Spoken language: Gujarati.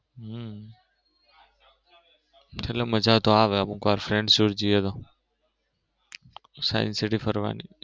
હમ મજા તો આવે અમુક વાર friends જોડે જઈએ તો સાયન્સ સિટી ફરવની.